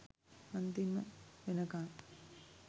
අන්තිම වෙනකන්